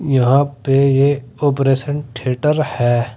यहां पे ये ऑपरेशन थिएटर है।